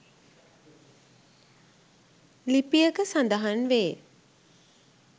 ලිපියක සඳහන්වේ.